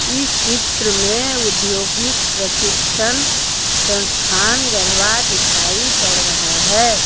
इस चित्र में उद्योगिक प्रशिक्षण संस्थान गढ़वा दिखाई पड़ रहा है।